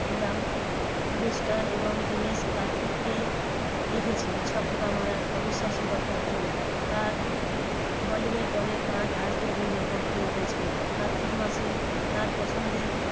নিলাম জিনিসটার এবং দীনেশ কার্তিককে রেখেছেন ছক্কা মারার অবিশাস্য দফার জন্য। তার bowling এর দলের কাজ আছে বলে মন্তব্য করেছিলেন। কার্তিক মাসের তার পছন্দের